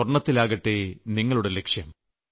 സ്വർണ്ണത്തിലാകട്ടെ നിങ്ങളുടെ ലക്ഷ്യം